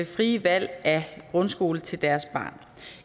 frie valg af grundskole til deres barn